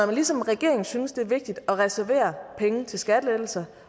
man ligesom regeringen synes det er vigtigt at reservere penge til skattelettelser